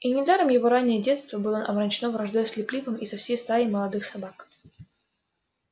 и недаром его раннее детство было омрачено враждой с лип липом и со всей стаей молодых собак